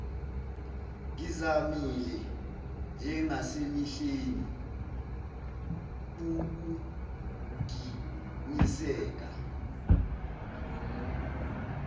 ngizamile njengasemihleni pukuginiseka